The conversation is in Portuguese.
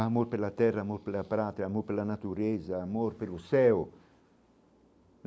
Amor pela terra, amor pela prátria, amor pela natureza, amor pelo céu.